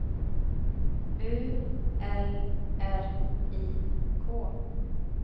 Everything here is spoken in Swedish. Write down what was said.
U L R I K